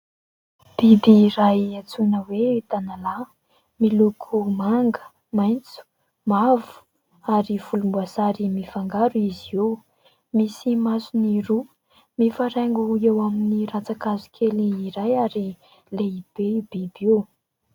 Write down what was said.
Biby iray antsoina hoe"tanalahy", miloko manga, maitso, mavo ary volomboasary mifangaro izy io, misy masony roa. Mifaraingo eo amin'ny ratsan-kazo kely iray ary lehibe io biby io.